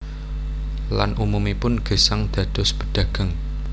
Lan umumipun gesang dados pedagang